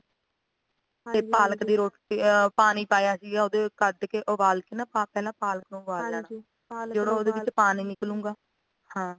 ਤੇ ਪਾਲਕ ਦੀ ਰੋਟੀ ਅ ਪਾਣੀ ਪਾਇਆ ਸੀਗਾ ਉਹਨੂੰ ਕੱਟ ਕੇ ਉਬਾਲ ਕੇ ਪਹਿਲਾਂ ਪਾਲਕ ਉਬਾਲ ਲੈਣਾ ਜਦੋਂ ਉਹਦੇ ਵਿੱਚੋ ਪਾਣੀ ਨਿਕਲੂਗਾ ਹਾਂ